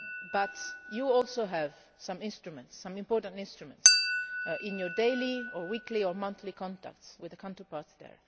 But you also have some instruments, some important instruments, in your daily or weekly or monthly contacts with the counterparts there.